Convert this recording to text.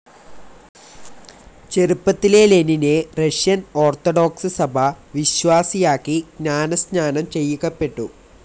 ചെറുപ്പത്തിലെ ലെനിനെ Russian Orthodox സഭ വിശ്വാസിയാക്കി ജ്ഞാനസ്നാനം ചെയ്യിക്കപ്പെട്ടു.